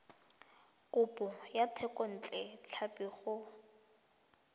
kopo ya thekontle tlhapi go